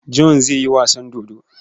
John zai yi wasan dodo.